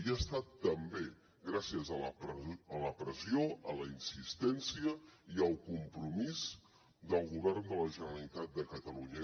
i ha estat també gràcies a la pressió a la insistència i al compromís del govern de la generalitat de catalunya